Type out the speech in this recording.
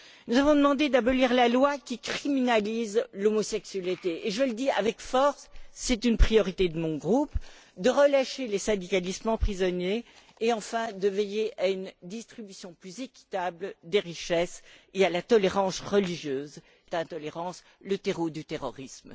Nous avons demandé d'abolir la loi qui criminalise l'homosexualité, puis, je le dis avec force c'est une priorité de mon groupe de relâcher les syndicalistes prisonniers et, enfin, de veiller à une distribution plus équitable des richesses et à la tolérance religieuse, l'intolérance restant le terreau du terrorisme.